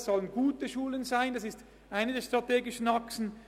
Es sollen gute Schulen sein, das ist eine der strategischen Achsen.